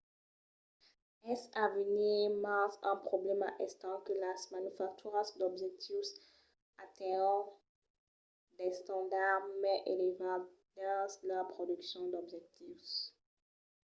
es a venir mens un problèma estent que las manufacturas d’objectius atenhon d’estandards mai elevats dins lor produccion d’objectius